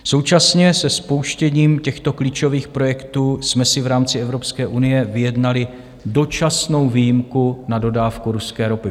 Současně se spouštěním těchto klíčových projektů jsme si v rámci Evropské unie vyjednali dočasnou výjimku na dodávku ruské ropy.